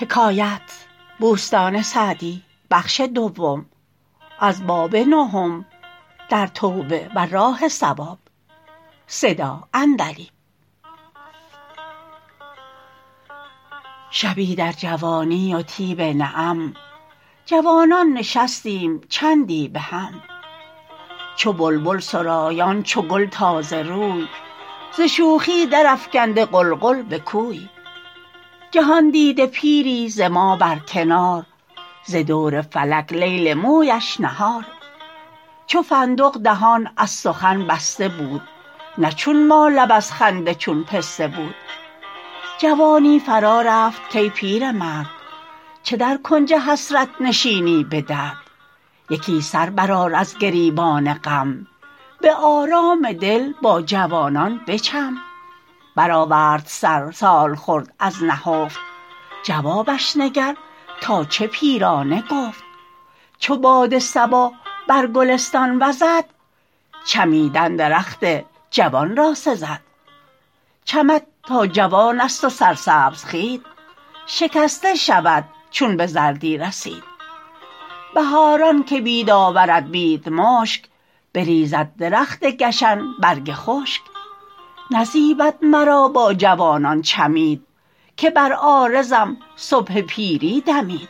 شبی در جوانی و طیب نعم جوانان نشستیم چندی بهم چو بلبل سرایان چو گل تازه روی ز شوخی در افکنده غلغل به کوی جهاندیده پیری ز ما بر کنار ز دور فلک لیل مویش نهار چو فندق دهان از سخن بسته بود نه چون ما لب از خنده چون پسته بود جوانی فرا رفت کای پیرمرد چه در کنج حسرت نشینی به درد یکی سر برآر از گریبان غم به آرام دل با جوانان بچم برآورد سر سالخورد از نهفت جوابش نگر تا چه پیرانه گفت چو باد صبا بر گلستان وزد چمیدن درخت جوان را سزد چمد تا جوان است و سرسبز خوید شکسته شود چون به زردی رسید بهاران که بید آورد بید مشک بریزد درخت گشن برگ خشک نزیبد مرا با جوانان چمید که بر عارضم صبح پیری دمید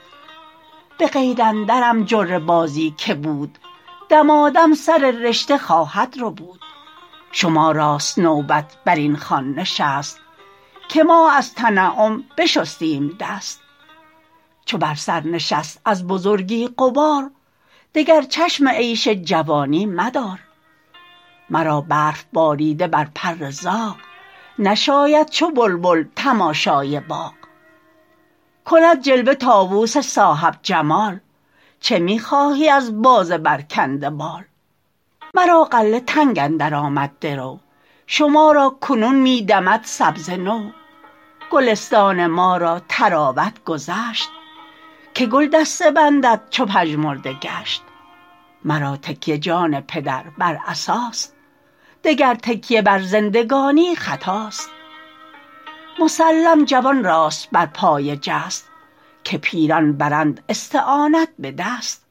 به قید اندرم جره بازی که بود دمادم سر رشته خواهد ربود شما راست نوبت بر این خوان نشست که ما از تنعم بشستیم دست چو بر سر نشست از بزرگی غبار دگر چشم عیش جوانی مدار مرا برف باریده بر پر زاغ نشاید چو بلبل تماشای باغ کند جلوه طاووس صاحب جمال چه می خواهی از باز برکنده بال مرا غله تنگ اندر آمد درو شما را کنون می دمد سبزه نو گلستان ما را طراوت گذشت که گل دسته بندد چو پژمرده گشت مرا تکیه جان پدر بر عصاست دگر تکیه بر زندگانی خطاست مسلم جوان راست بر پای جست که پیران برند استعانت به دست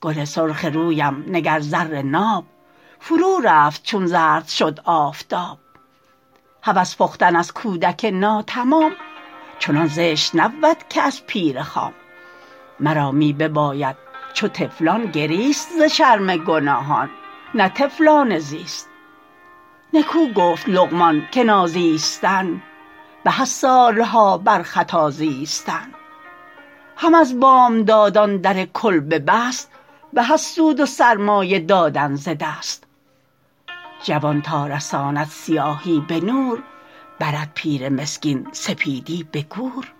گل سرخ رویم نگر زر ناب فرو رفت چون زرد شد آفتاب هوس پختن از کودک ناتمام چنان زشت نبود که از پیر خام مرا می بباید چو طفلان گریست ز شرم گناهان نه طفلانه زیست نکو گفت لقمان که نازیستن به از سالها بر خطا زیستن هم از بامدادان در کلبه بست به از سود و سرمایه دادن ز دست جوان تا رساند سیاهی به نور برد پیر مسکین سپیدی به گور